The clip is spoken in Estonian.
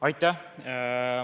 Aitäh!